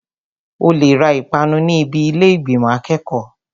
O lè ra ìpanu ní ibi ilé ìgbìmò akẹ́kọ̀ọ́.